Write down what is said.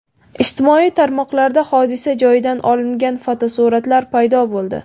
Ijtimoiy tarmoqlarda hodisa joyidan olingan fotosuratlar paydo bo‘ldi .